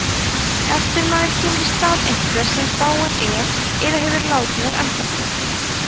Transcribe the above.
eftirmaður kemur í stað einhvers sem dáinn er eða hefur látið af embætti